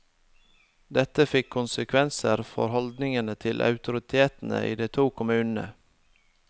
Dette fikk konsekvenser for holdningen til autoritetene i de to kommunene.